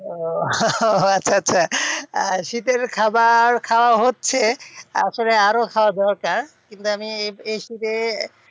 ও আচ্ছা আচ্ছা শীতের খাবার খাওয়া হচ্ছে আসলে আরও খাওয়া দরকার কিন্তু আমি এই শীতে,